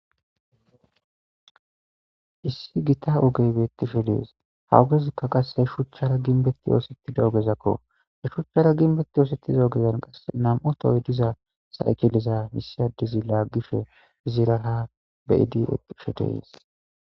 Issi gita ogeybettisho dees hawugezikka qasse shuchchara ginbetti yoosettida ogezakko e shuchchara ginbetti yoosettiza ogezan qasse nam'u tooy diza saykileza misiyadezi laaggishe ziraa beyidi eqisho deys.